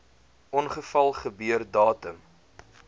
ongeval gebeur datum